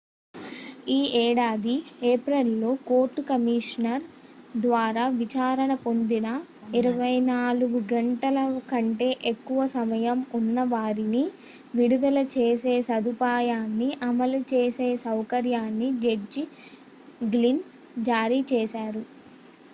ఈ ఏడాది ఏప్రిల్ లో కోర్టు కమిషనర్ ద్వారా విచారణ పొందని 24 గంటల కంటే ఎక్కువ సమయం ఉన్న వారిని విడుదల చేసే సదుపాయాన్ని అమలు చేసే సౌకర్యాన్ని జడ్జి గ్లిన్ జారీ చేశారు